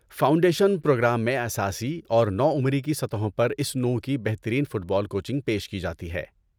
Foundation programme میں اساسی اور نوعمری کی سطحوں پر اس نوع کی بہترین فٹ بال کوچنگ پیش کی جاتی ہے۔